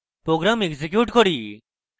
program execute করি